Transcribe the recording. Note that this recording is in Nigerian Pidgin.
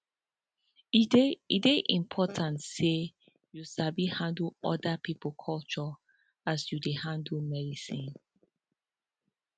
e dey e dey important say you sabi handle oda pipo culture as you dey handle medicine